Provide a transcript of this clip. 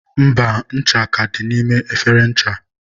mba, ncha ka dị n'ime efere ncha.